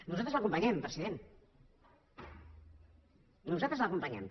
nosaltres l’acompanyem president nosaltres l’acompanyem